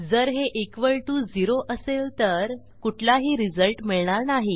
जर हे equal to 0असेल तर कुठलाही रिझल्ट मिळणार नाही